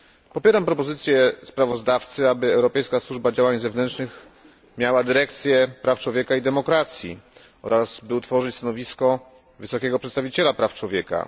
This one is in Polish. Popieram propozycje sprawozdawcy, aby Europejska Służba Działań Zewnętrznych miała dyrekcję praw człowieka i demokracji oraz by utworzyć stanowisko wysokiego przedstawiciela praw człowieka.